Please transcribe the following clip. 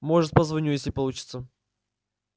может позвоню если получится